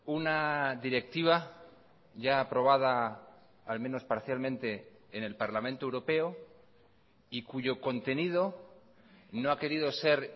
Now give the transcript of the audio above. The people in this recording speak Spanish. una directiva ya aprobada al menos parcialmente en el parlamento europeo y cuyo contenido no ha querido ser